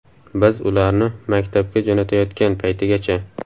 Biz ularni maktabga jo‘natayotgan paytigacha.